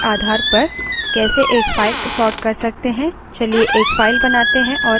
अब हम देखेंगे कि किसी column के आधार पर कैसे एक फाइल sort कर सकते हैं